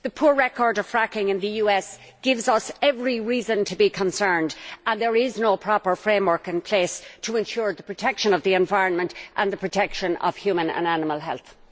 The poor record of fracking in the US gives us every reason to be concerned, and there is no proper framework in place to ensure the protection of the environment and the protection of human and animal health.